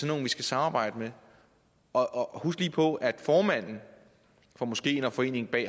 nogle vi skal samarbejde med husk lige på at formanden for moskeen og foreningen bag